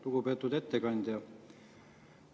Lugupeetud ettekandja!